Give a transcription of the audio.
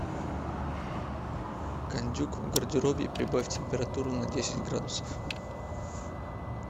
кондюк в гардеробе прибавь температуру на десять градусов